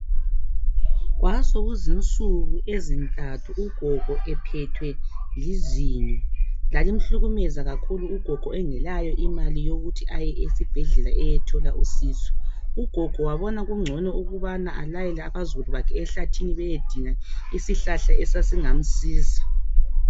Kwasokuzinsuku ezintathu ugogo ephethwe lizinyo. Lalimhlukumeza kakhulu ugogo engelayo imali yokuthi aye esibhedlela eyethola usizo. Ugogo wabona kungcono ukubana alayele abazukulu bakhe ehlathini beyedinga isihlahla esasingamsiza.